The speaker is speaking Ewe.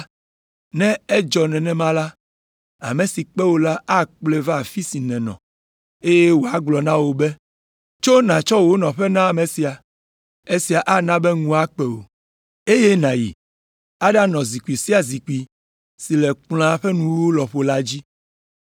ne edzɔ nenema la, ame si kpe wò la akplɔe va afi si nènɔ eye wòagblɔ na wò be, ‘Tso nàtsɔ wò nɔƒe na ame sia.’ Esia ana be ŋu akpe wò, eye nàyi aɖanɔ zikpui sia zikpui si le kplɔ̃a ƒe nuwuwu lɔƒo la dzi.